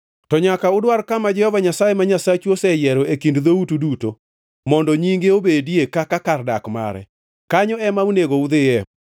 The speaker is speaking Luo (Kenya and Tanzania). To nyaka udwar kama Jehova Nyasaye ma Nyasachu oseyiero e kind dhoutu duto, mondo Nyinge obedie kaka kar dak mare. Kanyo ema onego udhiye